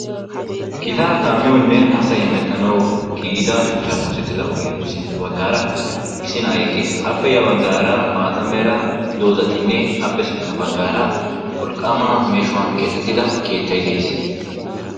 Gitaa kaamiyawunne asay hemettanawu giiggida shuchchaappe oosettida ogiyappe sintta baggaara issi na'ay eqqiis. Appe ya baggaara maataa meraa doozatinne appe sintta baggaara wolqqaama meeshshuwan keexxettida keettay de'ees.